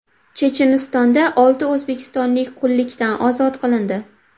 Chechenistonda olti o‘zbekistonlik qullikdan ozod qilindi.